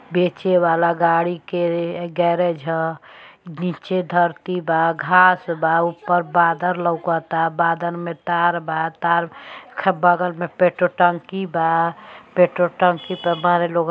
बेचे वाला गाड़ी के गैरेज ह। नीचे धरती बा घास बा ऊपर बादर लऊकता। बादर में तार बा। तार क बगल में पेट्रोल टंकी बा। पेट्रोल टंकी पे बाड़े लोग--